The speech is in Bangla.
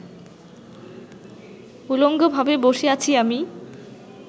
উলঙ্গভাবে বসে আছি আমি